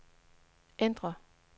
ændr